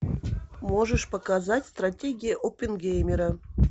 можешь показать стратегия оппенгеймера